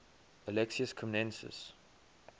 alexius comnenus